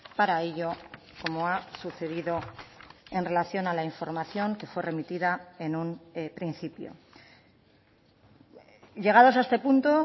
para ello como ha sucedido en relación a la información que fue remitida en un principio llegados a este punto